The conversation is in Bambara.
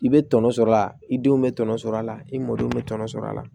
I bɛ tɔnɔ sɔrɔ a la i denw bɛ tɔnɔ sɔrɔ a la i mɔdenw bɛ tɔnɔ sɔrɔ a la